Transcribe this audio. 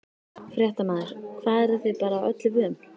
Fréttamaður: Hvað, eruð þið bara öllu vön?